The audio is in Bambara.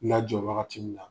La jɔ wagati min na.